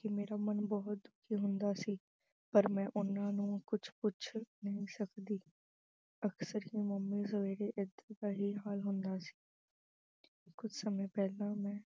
ਕੇ ਮੇਰਾ ਮਨ ਬਹੁਤ ਸ਼ਰਮਿੰਦਾ ਹੁੰਦਾ ਸੀ, ਪਰ ਮੈਂ ਉਹਨਾਂ ਨੂੰ ਕੁਝ ਪੁੱਛ ਨਹੀਂ ਸਕਦੀ। ਅਕਸਰ ਹੀ mummy ਦਾ ਸਵੇਰੇ ਇਦਾਂ ਦਾ ਹੀ ਹਾਲ ਹੁੰਦਾ ਸੀ। ਕੁਝ ਸਮੇਂ ਪਹਿਲਾਂ ਮੈਂ